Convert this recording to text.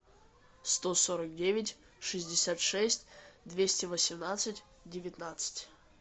сто сорок девять шестьдесят шесть двести восемнадцать девятнадцать